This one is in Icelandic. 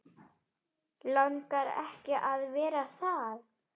Langar ekki að vera það.